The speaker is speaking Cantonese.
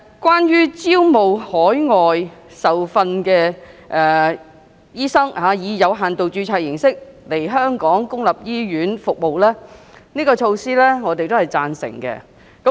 關於招聘海外受訓的醫生以有限度註冊形式來港在公立醫院提供服務的安排，我是贊成的。